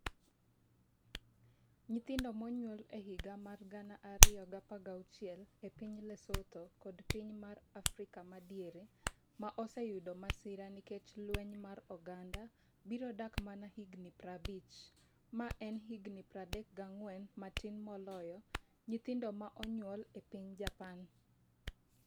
Nyithindo monyuol e higa 2016 e piny Lesotho kod Piny mar Afrika Madiere, ma oseyudo masira nikech lweny mar oganda, biro dak mana higni 50, ma en higni 34 matin moloyo nyithindo ma onyuol e piny Japan.